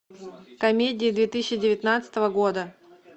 комедии две тысячи девятнадцатого года